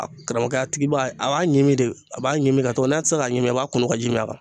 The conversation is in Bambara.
A karamɔgɔkɛ a tigi ba a b'a ɲimi de a b'a ɲimi tɔ n'a tɛ se ka ɲimi i b'a kunun ka ji min a kan